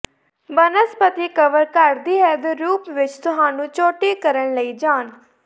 ਬਨਸਪਤੀ ਕਵਰ ਘਟਦੀ ਹੈ ਦੇ ਰੂਪ ਵਿੱਚ ਤੁਹਾਨੂੰ ਚੋਟੀ ਕਰਨ ਲਈ ਜਾਣ